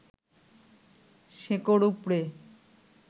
শেকড় উপড়ে